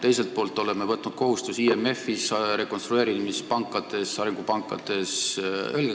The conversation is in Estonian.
Teiselt poolt oleme võtnud kohustusi IMF-is, rekonstrueerimispankades, arengupankades.